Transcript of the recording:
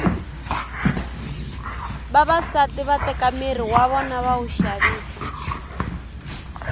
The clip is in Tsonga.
vavasati va teka miri w vona va wu xavisa